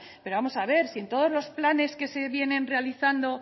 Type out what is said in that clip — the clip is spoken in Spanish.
pero vamos a ver si en todos los planes que se vienen realizando